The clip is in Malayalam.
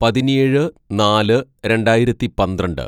"പതിനേഴ് നാല് രണ്ടായിരത്തി പന്ത്രണ്ട്‌